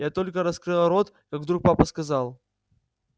я только раскрыла рот как вдруг папа сказал